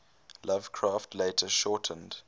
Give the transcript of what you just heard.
lovecraft later shortened